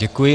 Děkuji.